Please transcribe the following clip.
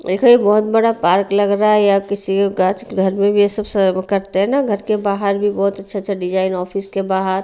देखो ये बहुत बड़ा पार्क लग रहा है या किसी का घर में भी ये सब करते हैं ना घर के बाहर बहुत अच्छा अच्छा डिज़ाइन ऑफिस के बाहर--